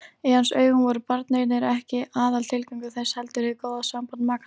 Í hans augum voru barneignir ekki aðaltilgangur þess heldur hið góða samband makanna.